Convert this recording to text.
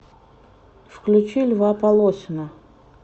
включи льва полосина